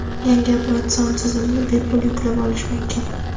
Yangi operatsion tizimni bepul yuklab olish mumkin.